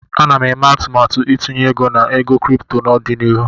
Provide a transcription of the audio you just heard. Ana m eme atụmatụ itinye ego na ego kripto n'ọdịnihu.